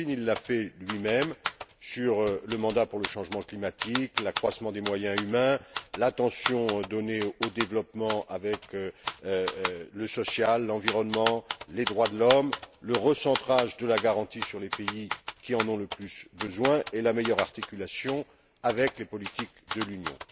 Kalfin il l'a fait lui même sur le mandat pour le changement climatique, l'accroissement des moyens humains, l'attention donnée au développement avec le social, l'environnement, les droits de l'homme, le recentrage de la garantie sur les pays qui en ont le plus besoin et la meilleure articulation avec les politiques de l'Union.